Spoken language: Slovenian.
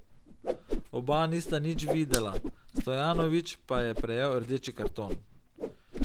Oba nista nič videla, Stojanović pa je prejel rdeči karton.